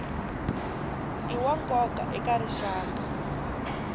i wa nkoka eka rixaka